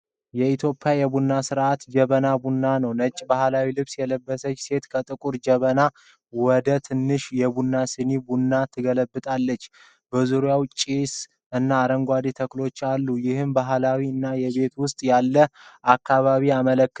የኢትዮጵያ የቡና ሥነ-ሥርዓት (ጀበና ቡና) ነው። ነጭ ባህላዊ ልብስ የለበሰች ሴት ከጥቁር ጀበና ወደ ትንንሽ የቡና ስኒዎች ቡና ትገለብጣለች። በዙሪያው ጭስ እና አረንጓዴ ተክሎች አሉ፤ ይህም ባህላዊ እና ቤት ውስጥ ያለ አከባቢን ያመለክታል።